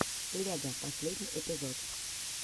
лего последний эпизод